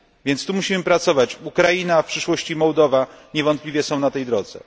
Więc tu musimy pracować Ukraina, a w przyszłości Mołdowa niewątpliwie są na tej drodze.